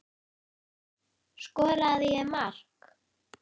Skoraði ég mark?